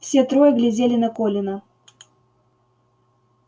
все трое глядели на колина